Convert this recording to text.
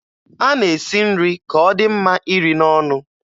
A na-esi nri ka ọ dị mma iri n'ọnụ.